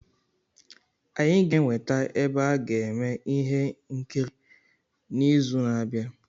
Anyị ga-enweta ebe a ga-eme ihe nkiri n'izu na-abịa.